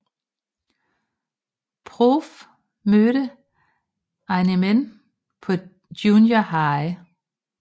Proof mødte Eminem på Junior High